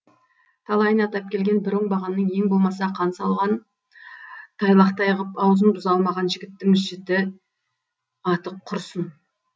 талайына тап келген бір оңбағанның ең болмаса қан салған тайлақтай қып аузын бұза алмаған жігіттің жіті аты құрсын